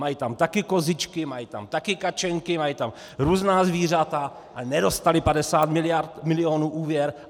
Mají tam taky kozičky, mají tam taky kačenky, mají tam různá zvířata a nedostali 50 milionů úvěr.